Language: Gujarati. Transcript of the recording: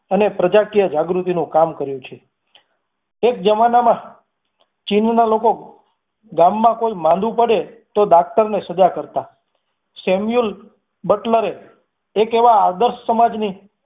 અને પ્રજાકીય જાગૃતિ નુ કામ કર્યું છે એક જમાનામાં ચિનોના લોકો ગામમાં કોઈ માંદુ પડે તો doctor ને સજા કરતા sameul buttler એ એક એવા આદર્શ સમાજની